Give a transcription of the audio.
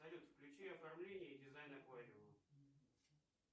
салют включи оформление и дизайн аквариума